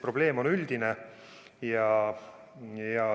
Probleem on üldine.